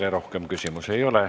Teile rohkem küsimusi ei ole.